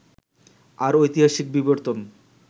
আর ঐতিহাসিক বিবর্তন